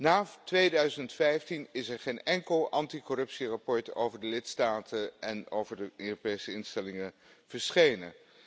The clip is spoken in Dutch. Na 2015 is er geen enkel anticorruptieverslag over de lidstaten en over de Europese instellingen verschenen.